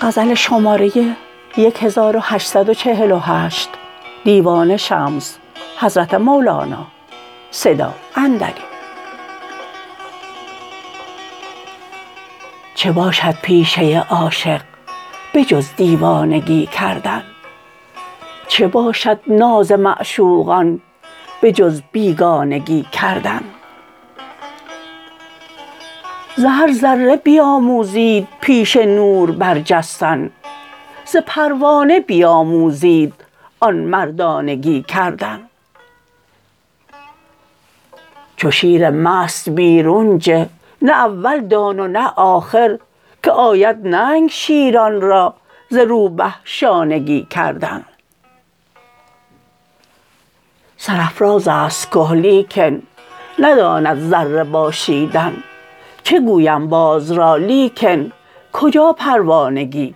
چه باشد پیشه عاشق به جز دیوانگی کردن چه باشد ناز معشوقان به جز بیگانگی کردن ز هر ذره بیاموزید پیش نور برجستن ز پروانه بیاموزید آن مردانگی کردن چو شیر مست بیرون جه نه اول دان و نه آخر که آید ننگ شیران را ز روبه شانگی کردن سرافراز است که لیکن نداند ذره باشیدن چه گویم باز را لیکن کجا پروانگی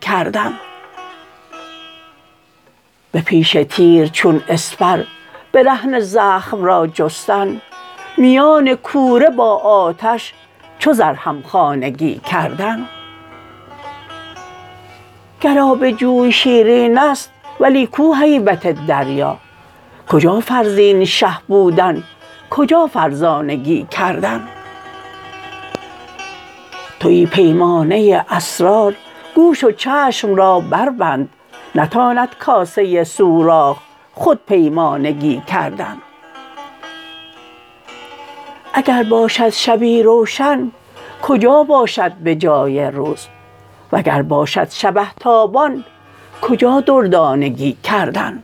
کردن به پیش تیر چون اسپر برهنه زخم را جستن میان کوره با آتش چو زر همخانگی کردن گر آب جوی شیرین است ولی کو هیبت دریا کجا فرزین شه بودن کجا فرزانگی کردن توی پیمانه اسرار گوش و چشم را بربند نتاند کاسه سوراخ خود پیمانگی کردن اگر باشد شبی روشن کجا باشد به جای روز وگر باشد شبه تابان کجا دردانگی کردن